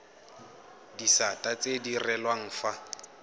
disata tse di direlwang fa